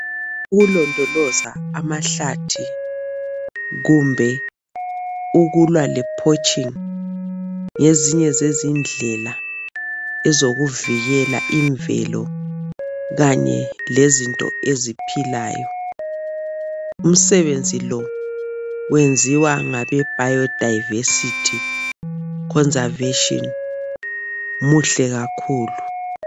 Ukulondoloza amahlathi kumbe ukulwa le porching ngezinye zezindlela zokuvikela imvelo kanye lezinto eziphilayo umsebenzi lo wenziea ngabe biodiversity conservation muhle kakhulu